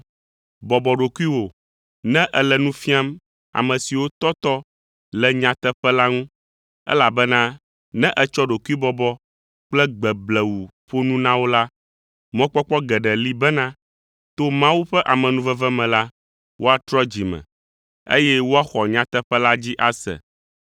Bɔbɔ ɖokuiwò ne èle nu fiam ame siwo tɔtɔ le nyateƒe la ŋu, elabena ne ètsɔ ɖokuibɔbɔ kple gbe blewu ƒo nu na wo la, mɔkpɔkpɔ geɖe li bena, to Mawu ƒe amenuveve me la, woatrɔ dzi me, eye woaxɔ nyateƒe la dzi ase.